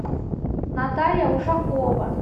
наталья ушакова